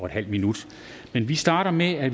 halv minut men vi starter med at